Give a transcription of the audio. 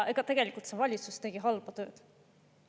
Ja tegelikult see valitsus tegi halba tööd.